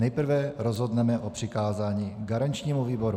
Nejprve rozhodneme o přikázání garančnímu výboru.